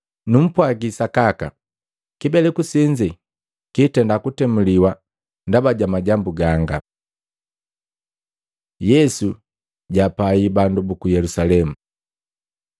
Numpwagi sakaka, kibeleku senze kitenda kutemuliwa ndaba ja majambu ganga. Yesu jaapai bandu buku Yelusalemu Luka 13:34-35